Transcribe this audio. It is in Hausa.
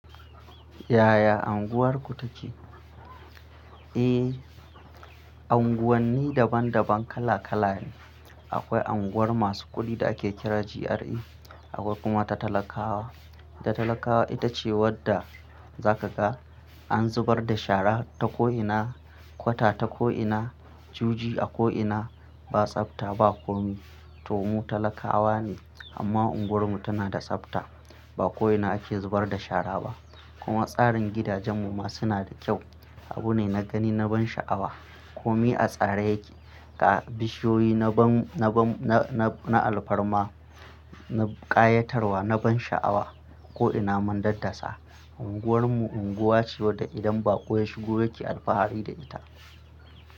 Yaya Anguwarku take? Eh, Anguwanni daban daban kala kala ne. Akwai anguwar masu kuɗi da ake kira GRA, akwai kuma ta talakawa. Ta talakawa ita ce wadda za ka ga an zubar da shara ta ko'ina, kwata ta ko'ina, juji a ko'ina, ba tsafta, ba komi. To mu talakawa ne amma unguwarmu tana da tsafta. Ba ko'ina ake zubar da shara ba. Kuma tsarin gidajenmu ma suna da kyau. Abu ne na gani na ban sha'awa. Komi a tsare yake. Ga bi shiyoyi na ban na alfarma, na ƙayatarwa, na ban sha'awa. Ko'ina mun daddasa. Unguwar mu unguwa ce wadda idan ba ƙo ya shigo yake alfahari da ita.